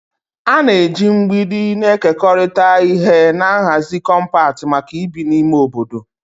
A na-eji mgbidi na-ekekọrịta ihe na nhazi kọmpat maka ibi na ime obodo.